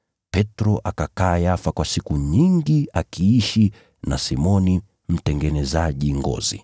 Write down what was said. Petro akakaa Yafa kwa siku nyingi akiishi na Simoni mtengenezaji ngozi.